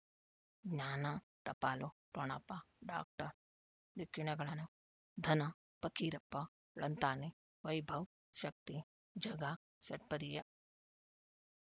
ಜ್ಞಾನ ಟಪಾಲು ಠೊಣಪ ಡಾಕ್ಟರ್ ಢಿಕ್ಕಿ ಣಗಳನು ಧನ ಫಕೀರಪ್ಪ ಳಂತಾನೆ ವೈಭವ್ ಶಕ್ತಿ ಝಗಾ ಷಟ್ಪದಿಯ